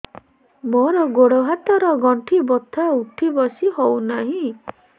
ମୋର ଗୋଡ଼ ହାତ ର ଗଣ୍ଠି ବଥା ଉଠି ବସି ହେଉନାହିଁ